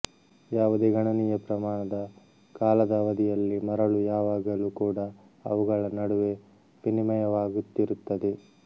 ಯಾವುದೇ ಗಣನೀಯ ಪ್ರಮಾಣದ ಕಾಲದ ಅವಧಿಯಲ್ಲಿ ಮರಳು ಯಾವಾಗಲೂ ಕೂಡ ಅವುಗಳ ನಡುವೆ ವಿನಿಮಯವಾಗುತ್ತಿರುತ್ತದೆ